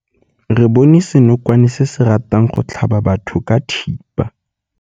Re bone senokwane se se ratang go tlhaba batho ka thipa.